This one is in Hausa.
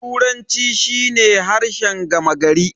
Turanci shi ne harshen gama gari.